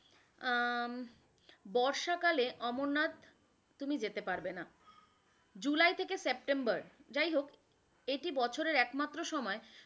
আহ বর্ষাকালে অমরনাথ তুমি যেতে পারবে না, জুলাই থেক সেপ্টেম্বর যাই হোক এটি বছরের একমাত্র সময়,